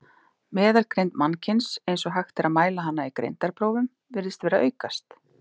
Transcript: Meðalgreind mannkyns, eins og hægt er að mæla hana í greindarprófum, virðist vera að aukast.